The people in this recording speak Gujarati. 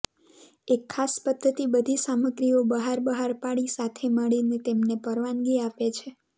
એક ખાસ પદ્ધતિ બધી સામગ્રીઓ બહાર બહાર પાડી સાથે મળીને તેમને પરવાનગી આપે છે